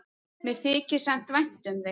Mér þykir samt vænt um þig.